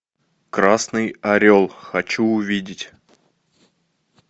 красный орел хочу увидеть